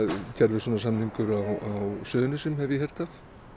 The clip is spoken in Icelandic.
gerður svona samningur á Suðurnesjum hef ég heyrt af